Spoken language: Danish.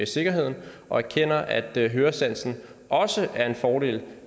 sikkerheden og erkender at høresansen også er en fordel